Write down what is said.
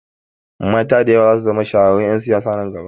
Mata da yawa zasu zama shahararrun ƴan siyasa a nan gaba